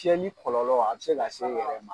Kɛli kɔlɔlɔ a bɛ se ka se o yɔrɔ ma.